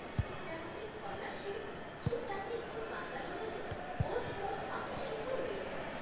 ଏଇଟା ଗୋଟେ ସ୍କଲାର୍ଶିପ୍ ଯୋଉଟାକି ଏଠି ବାଙ୍ଗାଲୋରରେ ଗୋସ୍ପୋର୍ଟ୍ସ୍ ଫାଉଣ୍ଡେସନ୍‌ରୁ ମିଳେ ।